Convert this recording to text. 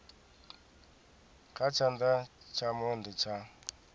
kha tshana tsha monde tsha